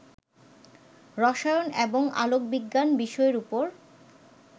রসায়ন এবং আলোকবিজ্ঞান বিষয়ের ওপর